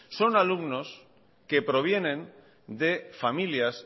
son alumnos que provienen de familias